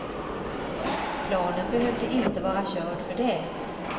Planen behövde inte vara körd för det.